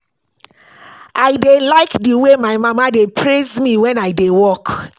I dey like the way my mama dey praise me wen I dey work